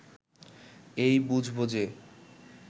এই বুঝব যে